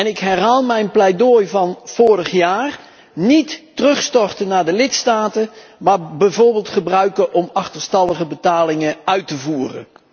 Ik herhaal dan ook mijn pleidooi van vorig jaar het overschot niet terugstorten aan de lidstaten, maar bijvoorbeeld gebruiken om achterstallige betalingen uit te voeren.